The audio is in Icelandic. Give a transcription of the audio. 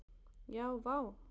Já, vá!